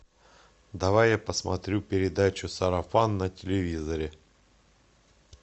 давай я посмотрю передачу сарафан на телевизоре